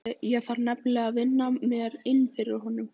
Ég þarf nefnilega að vinna mér inn fyrir honum.